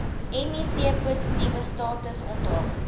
mivpositiewe status onthul